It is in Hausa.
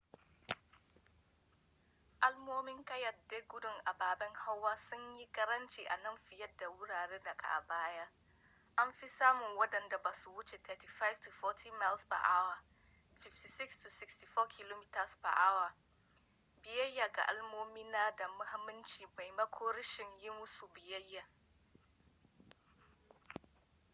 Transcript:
alamomin kayyade gudun ababen hawa sun yi karanci a nan fiye da a wuraren da ke baya - anfi samun wadanda ba sa wuce mph 35-40 56-64 km/h - biyayya ga alamomin na da mahimmanci maimakon rashin yi musu biyayya